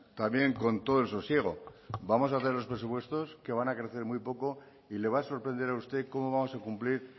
también con todo el sosiego vamos a hacer los presupuestos que van a crecer muy poco y le va a sorprender a usted cómo vamos a cumplir